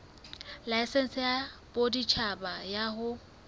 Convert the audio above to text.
laesense ya boditjhaba ya ho